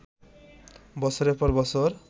বছরের পর বছর